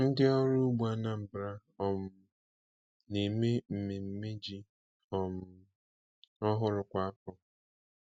Ndị ọrụ ugbo Anambra um na-eme mmemme ji um ọhụrụ kwa afọ.